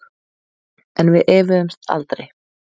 En við efuðumst aldrei.